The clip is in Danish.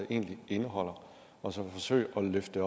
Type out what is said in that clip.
egentlig indeholder og som forsøger at løfte